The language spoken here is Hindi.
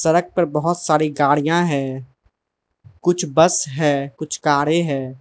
सड़क पर बहोत सारी गाड़ियां है कुछ बस है कुछ कारे है।